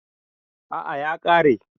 A'a ya ƙare